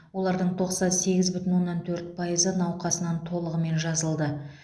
олардың тоқсан сегіз бүтін оннан төрт пайызы науқасынан толығымен жазылды